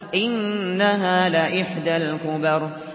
إِنَّهَا لَإِحْدَى الْكُبَرِ